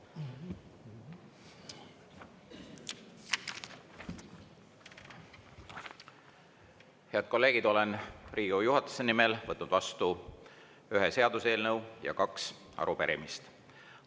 Head kolleegid, olen Riigikogu juhatuse nimel võtnud vastu ühe seaduseelnõu ja kaks arupärimist.